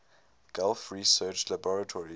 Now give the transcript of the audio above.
gulf research laboratories